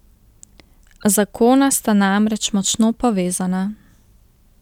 Zakona sta namreč močno povezana.